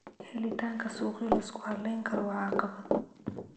Helitaanka suuqyo la isku halayn karo waa caqabad